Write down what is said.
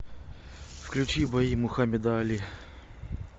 включи бои мухамеда али